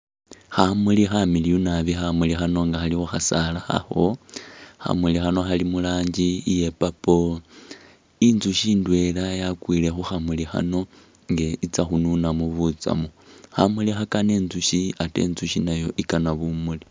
Khamuli khamiliyu nabi, khamuli khano nga khali khu khasaala khakho, khamuli khano khali mu rangi iya purple. Inzusyi ndweela yakwile khu khamuli khano nga itsa khununamu butsamu. Khamuli khakana inzusyi ate inzusyi nayo i'kana bumuli.